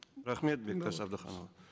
рахмет бектас әбдіханұлы